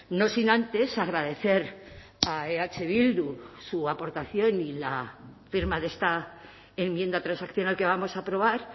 no sin antes agradecer a eh bildu su aportación y la firma de esta enmienda transaccional que vamos a aprobar